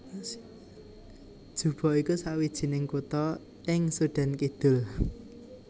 Juba iku sawijining kutha ing Sudan Kidul